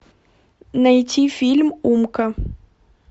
найти фильм умка